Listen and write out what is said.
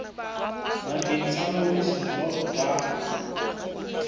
bakeng sa ngodiso jwalo ka